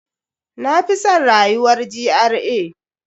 Na fi san rayuwar GRA.